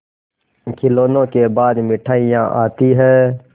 खिलौनों के बाद मिठाइयाँ आती हैं